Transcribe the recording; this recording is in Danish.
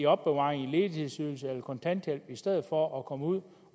opbevaret i et ledighedsydelses eller kontanthjælpssystem i for at komme ud